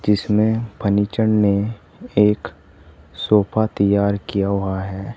जिसमें फर्नीचर ने एक सोफा तैयार किया हुआ है।